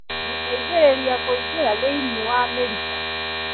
Gũteithĩrĩria kũingĩra thĩinĩ wa mĩrita